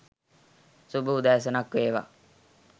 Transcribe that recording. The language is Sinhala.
"සුබ උදෑසනක් වේවා